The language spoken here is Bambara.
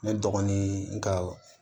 Ne dɔgɔnin n ka